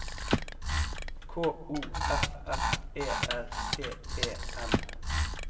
K O F F E R T E N